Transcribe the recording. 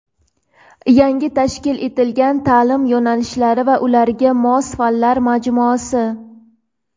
Yangi tashkil etilgan ta’lim yo‘nalishlari va ularga mos fanlar majmuasi.